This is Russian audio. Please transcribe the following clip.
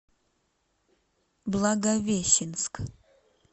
благовещенск